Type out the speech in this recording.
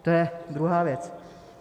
To je druhá věc.